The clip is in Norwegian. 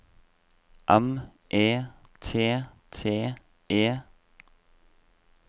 M E T T E